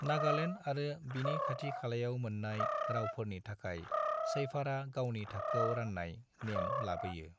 नागालैंड आरो बिनि खाथि खालायाव मोननाय रावफोरनि थाखाय शैफारआ गावनि थाखोआव राननाय नेम लाबोयो।